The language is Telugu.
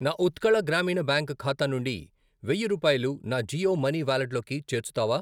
నా ఉత్కళ గ్రామీణ బ్యాంక్ ఖాతా నుండి వెయ్యి రూపాయలు నా జియో మనీ వాలెట్లోకి చేర్చుతావా?